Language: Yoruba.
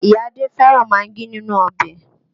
Ìyá Adé fẹ́ràn magí nínú ọbẹ̀